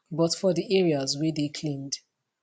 but for di areas wey dey cleaned